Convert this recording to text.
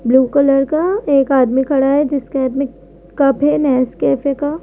Blue colour का एक आदमी खड़ा है जिसके हाथ में कप है नेसकैफे का।